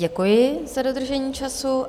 Děkuji za dodržení času.